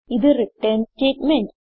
ഇത് return statement